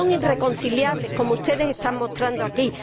no son irreconciliables, como ustedes están mostrando aquí.